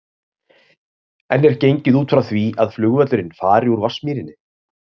En er gengið út frá því að flugvöllurinn fari úr Vatnsmýrinni?